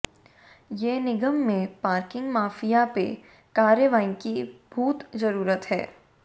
ये निगम में पार्किंग माफिया पे कार्रवाई की भोत जरूरत है